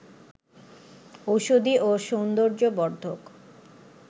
ঔষধি ও সৌন্দর্য বর্ধক